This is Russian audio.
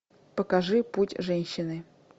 покажи путь женщины